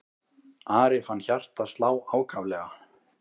Ari fann hjartað slá ákaflega.